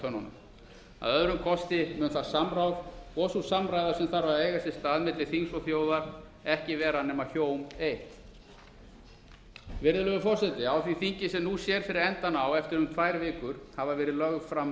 tönnunum að öðrum kosti mun það samráð og sú samræða sem þarf að eiga sér stað milli þings og þjóðar ekki vera nema hjóm eitt virðulegur forseti á því þingi sem nú sér fyrir endann á eftir um tvær vikur hafa verið lögð fram